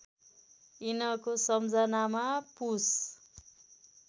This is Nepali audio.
यिनको सम्झनामा पुष